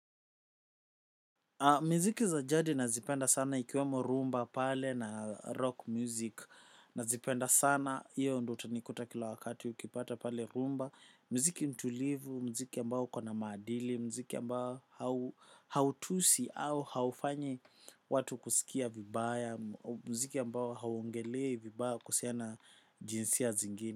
Miziki za jadi nazipenda sana ikiwemo rhumba, pale na rock music. Nazipenda sana hiyo ndio utanikuta kila wakati ukipata pale rhumba. Mziki mtulivu, mziki ambao ukona maadili, mziki ambao hautusi au haufanyi watu kuskia vibaya, mziki ambao hauogelei vibaya kuhusiana jinsia zingine.